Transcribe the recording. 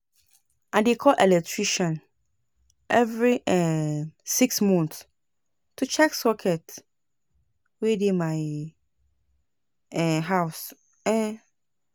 I dey call electrician every um six months to check sockets wey dey my um house. um